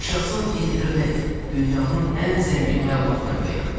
Yaşasın internet, dünyanın ən zəngin məlumat mənbəyi!